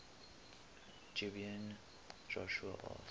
gibeon joshua asked